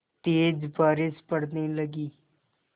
तेज़ बारिश पड़ने लगी